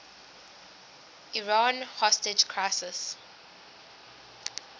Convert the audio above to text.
iran hostage crisis